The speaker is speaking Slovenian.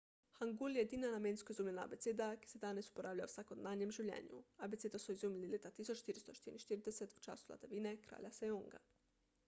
hangul je edina namensko izumljena abeceda ki se danes uporablja v vsakdanjem življenju. abecedo so izumili leta 1444 v času vladavine kralja sejonga 1418–1450